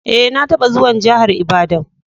Eh, na taba zuwan jihar lbadan.